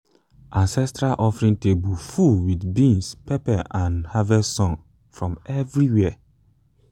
ancestral offering table full with beans pepper and harvest songs from everywhere.